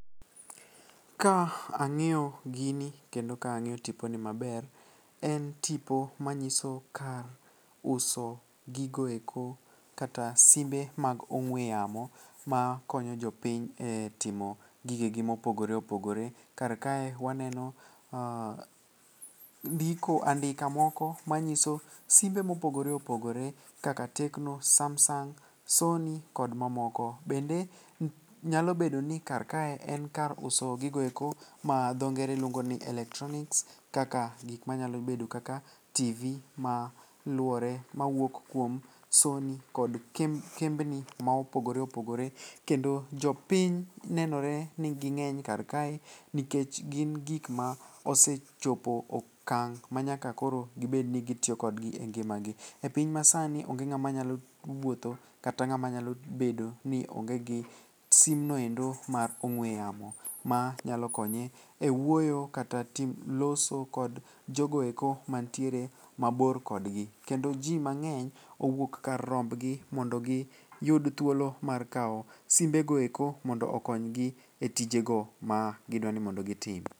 Ka ang'iyo gini kendo ka ang'iyo tiponi maber en tipo manyiso kar uso gigoeko kata simbe mag ong'we yamo makonyo jopiny e timo gigegi mopogore opogore. Karkae waneno andika moko manyiso simbe mopogore opogore kaka tecno, samsung, sony kod mamoko. Bende nyalobedo ni karkae en kar uso gigoeko ma dho ngere luongo ni electronics kaka gikmanyalo bedo kaka tivi mawuok kuom sony kod kembni ma opogore opogore kendo jopiny nenore ni ging'eny karkae nikech gin gikma osechopo okang' manyaka koro gibed ni gitiyo kodgi e ngimagi. E piny masani onge ng'ama nyalo wuotho kata ng'ama nyalo bedo ni onge gi simnoendo mar opng'we yamo manyalo konye e wuoyo kata loso kod jogoeko mantiere mabor kodgi kendo ji mang'eny owuok kar rombgi mondo giyud thuolo mar kawo simbego eko mondo okonygi e tijego magidwa ni mondo gitim.